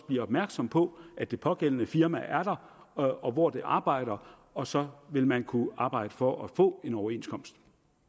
bliver opmærksom på at det pågældende firma er der og hvor det arbejder og så vil man kunne arbejde for at få en overenskomst